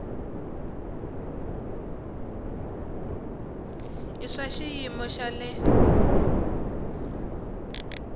i swa xiyimo xa le